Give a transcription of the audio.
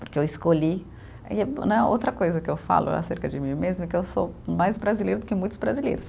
Porque eu escolhi e né, outra coisa que eu falo acerca de mim mesma é que eu sou mais brasileira do que muitos brasileiros.